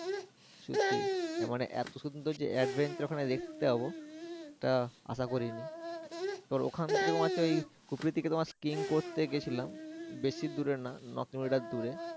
সত্যি মানে এতো সৌন্দর্যে adventure ওখানে দেখতে পাবো এটা আশা করিনি তো ওখান থেকে তোমার হচ্ছে খুপড়িতে Skewing করতে গেছিলাম বেশি দূরে না ন কিলোমিটার দূরে।